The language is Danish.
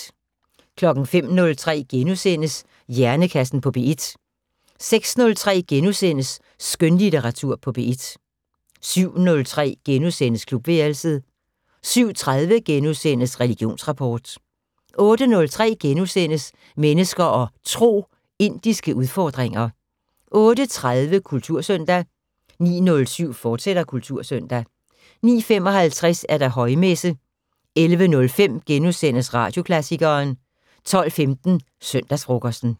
05:03: Hjernekassen på P1 * 06:03: Skønlitteratur på P1 * 07:03: Klubværelset * 07:30: Religionsrapport * 08:03: Mennesker og Tro: Indiske udfordringer * 08:30: Kultursøndag 09:07: Kultursøndag, fortsat 09:55: Højmesse - 11:05: Radioklassikeren * 12:15: Søndagsfrokosten